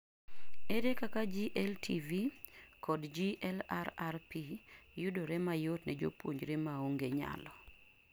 Ere kaka GLTV kod GLRRP yodore mayot ne jopunjre maonge nyalo